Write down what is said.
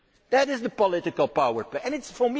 That is the political power play.